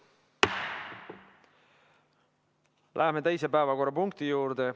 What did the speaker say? Läheme teise päevakorrapunkti juurde.